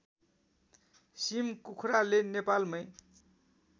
SIM कुखुराले नेपालमै